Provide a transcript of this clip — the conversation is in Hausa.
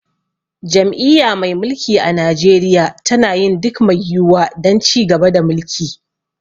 Jam'iyya mai mulki a Najeriya tana yin duk mai yiwuwa don ci gaba da mulki.